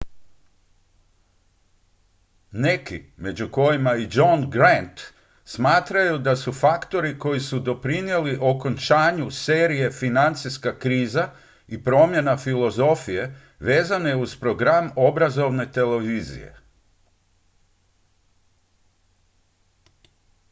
neki među kojima i john grant smatraju da su faktori koji su doprinijeli okončanju serije financijska kriza i promjena filozofije vezane uz program obrazovne televizije